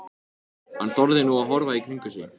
Hann þorði nú að horfa í kringum sig.